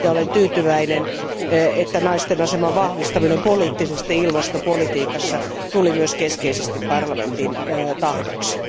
Olen tyytyväinen, että naisten aseman vahvistaminen poliittisesti ilmastopolitiikassa tuli myös keskeisesti parlamentin tahdoksi.